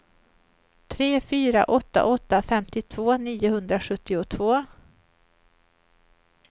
tre fyra åtta åtta femtiotvå niohundrasjuttiotvå